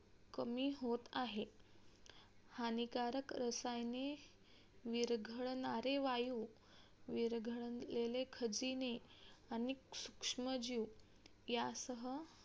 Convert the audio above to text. कमी होत आहे. हानिकारक रसायने विरघळणारे वायु विरघळलेले खजिने, अनेक सूक्ष्मजीव यांसह